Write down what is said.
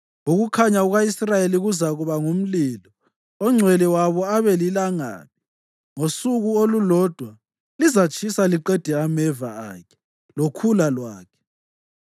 Ukukhanya kuka-Israyeli kuzakuba ngumlilo, oNgcwele wabo abe lilangabi, ngosuku olulodwa lizatshisa liqede ameva akhe lokhula lwakhe.